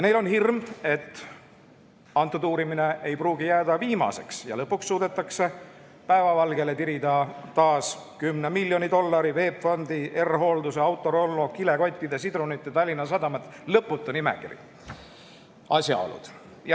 Neil on hirm, et praegune uurimine ei pruugi jääda viimaseks ja et lõpuks suudetakse taas päevavalgele tirida 10 miljoni dollari VEB-Fondi, R-Hoolduse, Autorollo, kilekottide, sidrunite ja Tallinna Sadama – lõputa nimekiri – asjaolud.